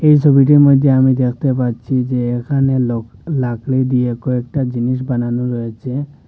এই সোবিটির মইধ্যে আমি দেখতে পাচ্ছি যে এখানে লোক লাকড়ি দিয়ে কয়েকটা জিনিস বানানো রয়েচে ।